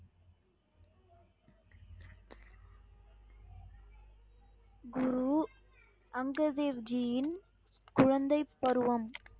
குரு அங்க தேவ் ஜியின் குழந்தை பருவம்